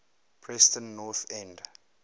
preston north end